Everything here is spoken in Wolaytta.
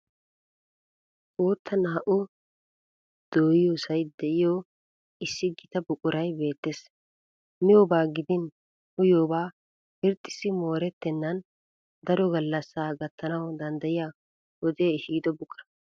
Bootta naa"u dooyiyosay de"iyo issi gita buquray beettes. Miyobaa gidin uyiyooba irxxissi moorettennan daro gallasaa gattana danddayiya wodee ehido buquraa.